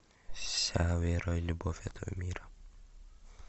вся вера и любовь этого мира